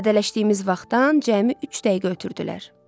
Vədələşdiyimiz vaxtdan cəmi üç dəqiqə ötürdülər.